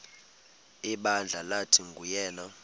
ibandla lathi nguyena